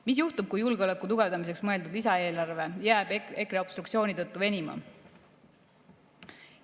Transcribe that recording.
Mis juhtub, kui julgeoleku tugevdamiseks mõeldud lisaeelarve jääb EKRE obstruktsiooni tõttu venima?